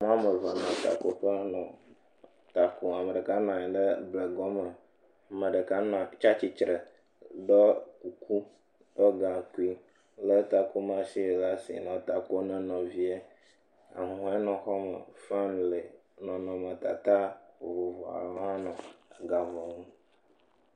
Womevea le takoƒe nɔ ta kom. Me ɖeka nɔa nyi ɖe blegɔ me. Me ɖeka nɔa tsia tsitre ɖe ɖɔ kuku ega kui le takomɔ ɖe ɖa si nɔ ta kom ne nɔvia. Ahuhɔe le xɔa me. Nɔnɔmetata vovovcoawo hã ga ŋɔ nu.